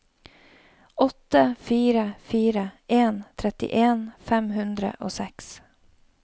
åtte fire fire en trettien fem hundre og seks